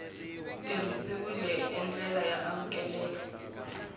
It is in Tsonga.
tirhisiwile hi ndlela y amukeleka